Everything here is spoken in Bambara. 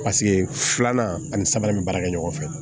Paseke filanan ani sabanan bɛ baara kɛ ɲɔgɔn fɛ